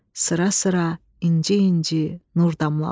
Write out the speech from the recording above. sıra-sıra, inci-inci nur damlalar.